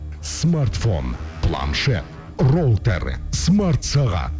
смартфон планшет роутер смартсағат